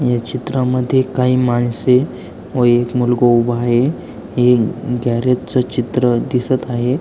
या चित्रामध्ये काही माणसे व मूलगो उभो आहे. हे गॅरेज च चित्र दिसत आहे.